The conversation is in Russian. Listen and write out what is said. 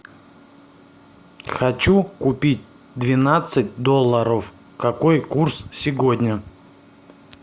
хочу купить двенадцать долларов какой курс сегодня